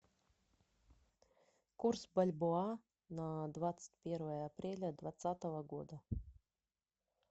курс бальбоа на двадцать первое апреля двадцатого года